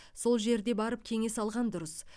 сол жерде барып кеңес алған дұрыс